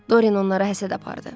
Doryan onlara həsəd apardı.